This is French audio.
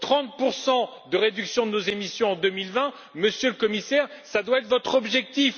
30 de réduction de nos émissions en 2020, Monsieur le Commissaire, ce doit être votre objectif.